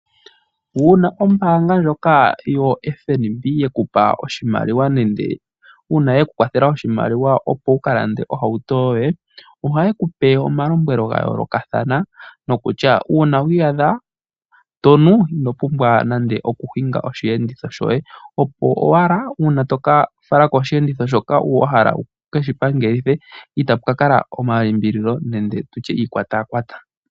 Uuna ombanga ndjoka yo FMB yekupa oshimaliwa nande una yekukwathela oshimaliwa opo wukalande ohouto yoye ohayekupe omalombwelo ngayoloka thana nokutya una wiyadha tonu inopumbwa nande okuninga oshenditho shoye opo owala una toka falako oshenditho shoka wahala wukeshi pangelithe itapukakala omalimbililo nenge tutye iikwatakwata.